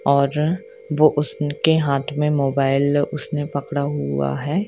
और वो उसनके हाथ में मोबाइल उसने पकड़ा हुआ है।